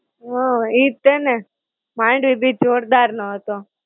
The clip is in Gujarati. હાં, ઈજ છે ને. માંડવી બીચ જોરદાર નો હતો.